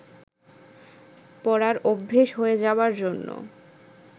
পরার অভ্যেস হয়ে যাবার জন্য